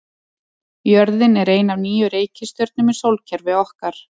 Jörðin er ein af níu reikistjörnum í sólkerfi okkar.